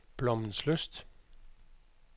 Blommenslyst